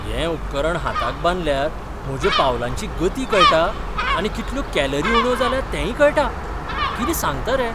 हें उपकरण हाताक बांदल्यार म्हज्या पावलांची गती कळटा आनी कितल्यो कॅलरी उण्यो जाल्यो तेंय कळटा? कितें सांगता रे?